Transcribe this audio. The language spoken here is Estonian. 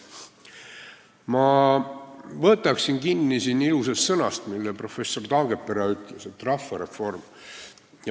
Ma võtan kinni ilusast sõnast, mille professor Taagepera välja ütles: rahvareform.